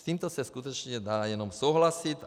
S tímto se skutečně dá jenom souhlasit.